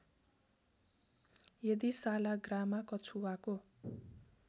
यदि सालाग्रामा कछुवाको